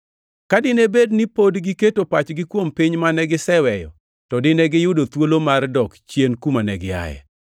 Ka dine bed ni pod giketo pachgi kuom piny mane giseweyo, to dine giyudo thuolo mar dok chien kuma ne giaye.